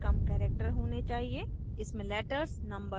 name में 10 से कम characters होने चाहिए